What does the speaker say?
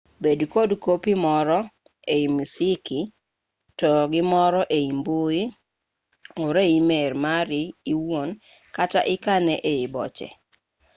bed kod kopi more ei misiki to gi moro e mbui ore e e-mail mari iwuon kata ikane ei boche”